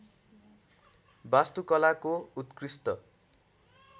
वास्तुकलाको उत्कृष्ट